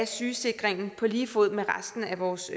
sygesikringen på lige fod med resten af vores